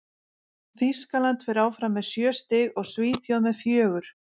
Þýskaland fer áfram með sjö stig og Svíþjóð með fjögur.